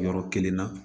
Yɔrɔ kelen na